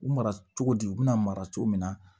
U mara cogo di u bɛna mara cogo min na